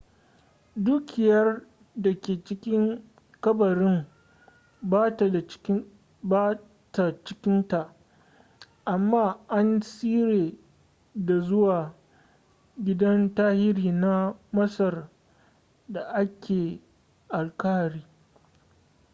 dukiyar da ke cikin kabarin ba ta cikin ta amma an cire ta zuwa gidan tarihi na masar da ke alkahira